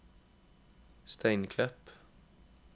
Steinklepp